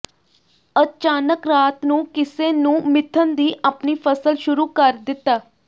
ਅਚਾਨਕ ਰਾਤ ਨੂੰ ਕਿਸੇ ਨੂੰ ਮਿਧਣ ਦੀ ਆਪਣੀ ਫ਼ਸਲ ਸ਼ੁਰੂ ਕਰ ਦਿੱਤਾ